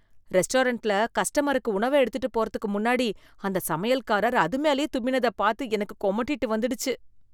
ரெஸ்டாரன்ட்ல கஸ்டமருக்கு உணவ எடுத்துட்டு போறதுக்கு முன்னாடி அந்த சமையல்காரர் அது மேலேயே தும்மினதப் பாத்து எனக்கு கொமட்டிட்டு வந்துடுச்சு.